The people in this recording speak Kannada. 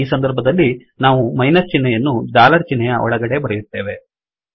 ಈ ಸಂದರ್ಭದಲ್ಲಿ ನಾವು ಮೈನಸ್ ಚಿಹ್ನೆಯನ್ನು ಡಾಲರ್ ಚಿಹ್ನೆಯ ಒಳಗಡೆ ಬರೆಯುತ್ತೇವೆ